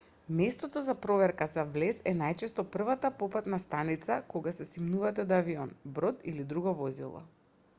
местото за проверка за влез е најчесто првата попатна станица кога се симнувате од авион брод или друго возило